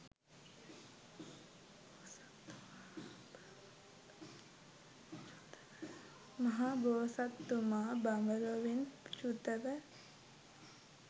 මහ බෝසත්තුමා බඹ ලොවින් චුත ව,